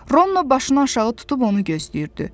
Rono başını aşağı tutub onu gözləyirdi.